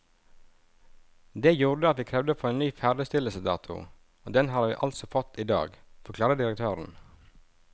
Det gjorde at vi krevde å få en ny ferdigstillelsesdato, og den har vi altså fått i dag, forklarer direktøren.